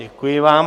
Děkuji vám.